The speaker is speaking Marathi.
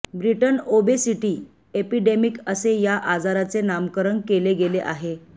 ब्रिटन ओबेसिटी एपिडेमिक असे या आजाराचे नामकरण केले गेले आहे